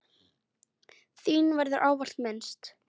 Þín verður ávallt minnst.